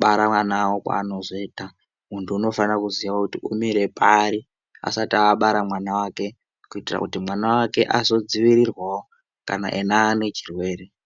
bara vana kwaanozoita muntu unofanira kuziye kuti umire pari asati abara mwana vake. Kuitira kuti mwana vake azodzivirirwavo kana ena anechirwere.